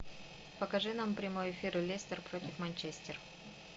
покажи нам прямой эфир лестер против манчестер